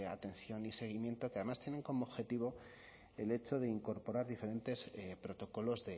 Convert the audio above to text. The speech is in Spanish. atención y seguimiento que además tienen como objetivo el hecho de incorporar diferentes protocolos